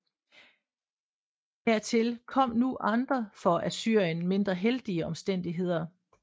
Hertil kom nu andre for Assyrien mindre heldige omstændigheder